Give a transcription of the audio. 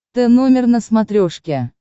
тномер на смотрешке